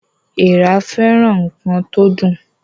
Èèrà fẹràn ǹkan tó dùn